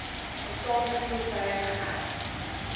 bestaande voertuie geërf